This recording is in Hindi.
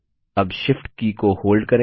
अब Shift की को होल्ड करें